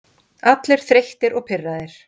Allir þreyttir og pirraðir.